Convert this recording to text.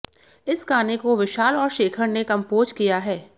इस गाने को विशाल और शेखर ने कंपोज किया हैं